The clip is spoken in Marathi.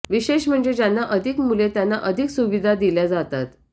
विशेष म्हणजे ज्यांना अधिक मुले त्यांना अधिक सुविधा दिल्या जातात